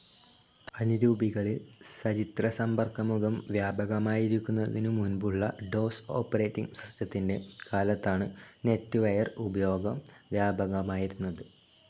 അനുരൂപികളിൽ സചിത്രസമ്പർക്കമുഖം വ്യാപകമാകുന്നതിനു മുൻപുള്ള ഡോസ്‌ ഓപ്പറേറ്റിങ്‌ സിസ്റ്റത്തിന്റെ കാലത്താണ് നെറ്റ്‌വെയർ ഉപയോഗം വ്യാപകമായിരുന്നത്.